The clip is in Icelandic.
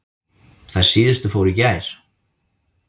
Þær síðustu fóru í gær.